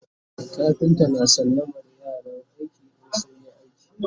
kafinta na sallamar yaran aiki in sun iya aiki